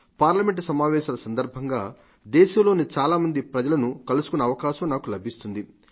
parliament సమావేశాల సందర్భంగా దేశంలోని చాలామంది ప్రజలను కలుసుకునే అవకాశం నాకు లభిస్తుంది